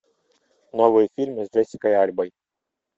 новые фильмы с джессикой альбой